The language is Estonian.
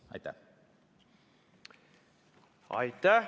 Aitäh!